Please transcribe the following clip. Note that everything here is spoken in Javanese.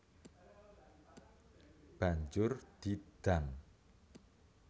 Banjur di dang